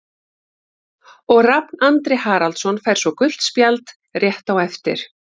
Og Rafn Andri Haraldsson fær svo gult spjald rétt á eftir.